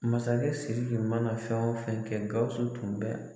Masakɛ Siriki mana na fɛn o fɛn kɛ Gawusu tun bɛ